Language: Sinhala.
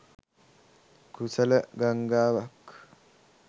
කුසල ගංගාවක්